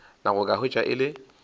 nako ka hwetša e le